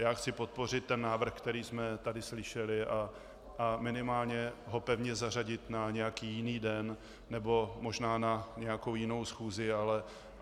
Já chci podpořit ten návrh, který jsme tady slyšeli, a minimálně ho pevně zařadit na nějaký jiný den nebo možná na nějakou jinou schůzi.